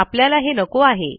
आपल्याला हे नको आहे